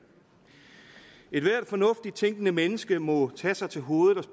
ethvert fornuftigt tænkende menneske må tage sig til hovedet og